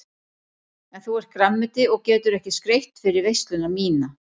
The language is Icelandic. En þú ert grænmeti og getur ekki skreytt fyrir veisluna MÍNA.